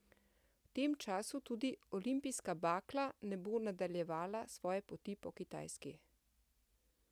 V tem času tudi olimpijska bakla ne bo nadaljevala svoje poti po Kitajski.